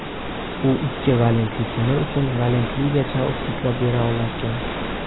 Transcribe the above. U ikki valentli temir uchun valentligacha oksidlab bera olarkan.